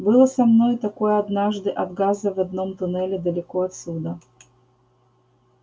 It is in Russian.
было со мной такое однажды от газа в одном туннеле далеко отсюда